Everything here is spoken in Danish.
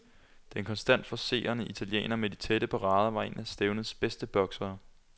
Den konstant forcerende italiener med de tætte parader var en af stævnets bedste boksere.